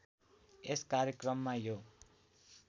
यस कार्यक्रममा यो